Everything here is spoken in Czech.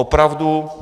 Opravdu.